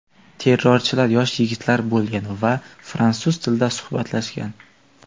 Terrorchilar yosh yigitlar bo‘lgan va fransuz tilida suhbatlashgan.